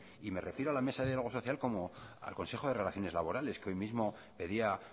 y me refiero a la mesa de diálogo social como al consejo de relaciones laborales que hoy mismo pedía